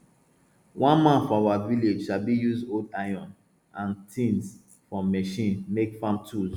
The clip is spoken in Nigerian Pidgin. one man for our village sabi use old iron and tins from machine make farm tools